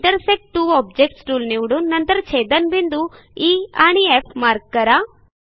intersect two objects tool निवडून नंतर छेदनबिंदू ई आणि एफ मार्क करा